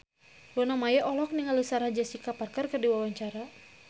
Luna Maya olohok ningali Sarah Jessica Parker keur diwawancara